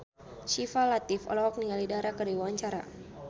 Syifa Latief olohok ningali Dara keur diwawancara